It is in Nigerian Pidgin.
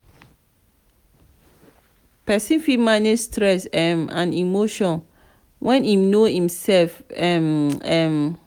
person fit manage stress um and emotion when im know im self um um